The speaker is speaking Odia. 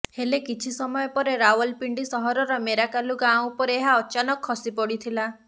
ହେଲେ କିଛି ସମୟ ପରେ ରାୱଲପିଣ୍ଡି ସହରର ମୋରାକାଲୁ ଗାଁ ଉପରେ ଏହା ଅଚାନକ ଖସି ପଡ଼ିଥିଲା